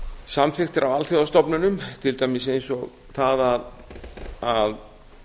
samþykktir að alþjóðastofnunum til dæmis eins og það að